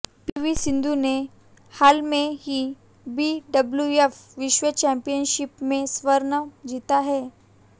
PV Sindhu ने हाल में ही बीडब्ल्यूएफ विश्व चैंपियनशिप में स्वर्ण जीता है